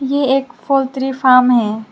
ये एक poultry farm है।